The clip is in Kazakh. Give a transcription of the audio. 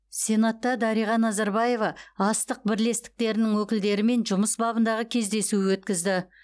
сенатта дариға назарбаева астық бірлестіктерінің өкілдерімен жұмыс бабындағы кездесу өткізді